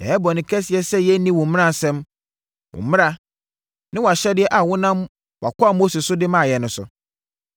Yɛayɛ bɔne kɛseɛ sɛ yɛanni wo mmaransɛm, wo mmara, ne wʼahyɛdeɛ a wonam wʼakoa Mose so de maa yɛn no so.